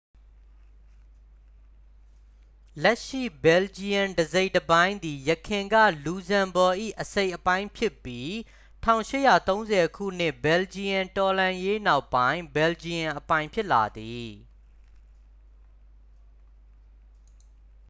လက်ရှိဘယ်လ်ဂျီယမ်တစ်စိတ်တစ်ပိုင်းသည် ယခင်က လူဇမ်ဘော့၏ အစိတ်အပိုင်းဖြစ်ပြီး 1830 ခုနှစ် ဘယ်လ်ဂျီယမ်တော်လှန်ရေးနောက်ပိုင်း ဘယ်လ်ဂျီယမ်အပိုင်ဖြစ်လာသည်